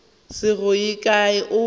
se go ye kae o